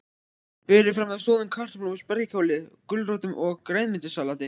Berið fram með soðnum kartöflum, spergilkáli, gulrótum og grænmetissalati.